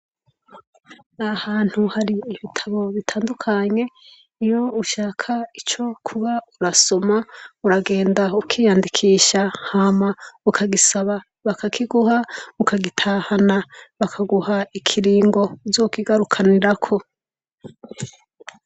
Nahantu hari ibitabo bitandukanye iyo ushaka ico kuba urasoma uragenda ukiyandikisha hama ukagisaba bakakiguha ukagitahana bakaguha ikiringo uzokigarukiranirako.